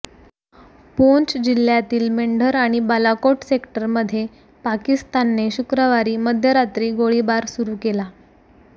पुंछ जिल्ह्यातील मेंढर आणि बालाकोट सेक्टरमध्ये पाकिस्तानने शुक्रवारी मध्यरात्री गोळीबार सुरू केला